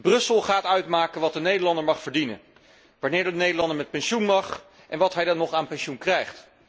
Brussel gaat uitmaken wat de Nederlander mag verdienen, wanneer de Nederlander met pensioen mag, en wat hij dan nog aan pensioen krijgt.